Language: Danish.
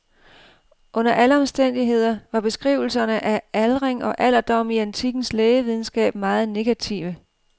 Under alle omstændigheder var beskrivelserne af aldring og alderdom i antikkens lægevidenskab meget negative.